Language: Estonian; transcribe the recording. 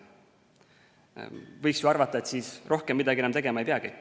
Võiks ju arvata, et siis rohkem midagi enam tegema ei peagi.